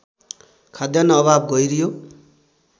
खाद्यान्न अभाव गहिरियो